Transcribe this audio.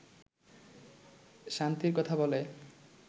শান্তির কথা বলে